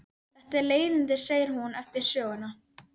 Þetta eru leiðindi, segir hún eftir söguna.